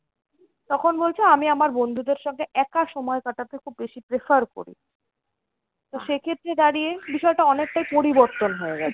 তখন বলছে আমি আমার বন্ধুদের সঙ্গে একা সময় কাটাতে খুব বেশি prefer করি। তো সেক্ষেত্রে দাঁড়িয়ে বিষয়টা অনেকটাই পরিবর্তন হয়ে গেছে।